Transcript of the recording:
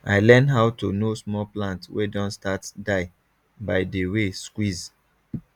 i learn how to know small plant wey don start die by the way squeeze